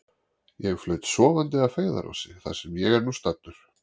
Ég flaut sofandi að feigðarósi, þar sem ég er nú staddur.